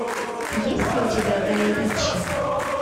есть ли у тебя гай ричи